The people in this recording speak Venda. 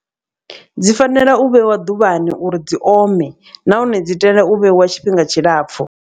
Dzi fanela u vheiwa ḓuvhani uri dzi ome nahone dzi tea u vheiwa tshifhinga tshilapfu.